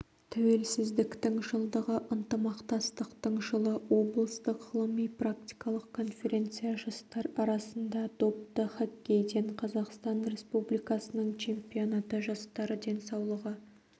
тәуелсіздіктің жылдығы ынтымақтастықтың жылы облыстық ғылыми-практикалық конференция жастар арасында допты хоккейден қазақстан республикасының чемпионаты жастар денсаулығы